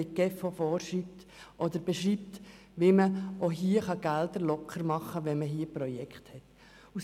Die GEF beschreibt, wie man Mittel freischaufeln kann, wenn man hier Projekte einbringt.